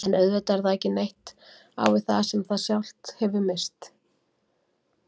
En auðvitað er það ekki neitt á við það sem það sjálft hefur misst.